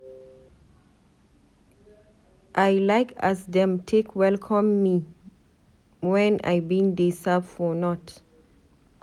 I like as dem take welcome me wen I bin dey serve for north.